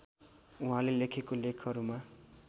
वहाँले लेखेको लेखहरूमा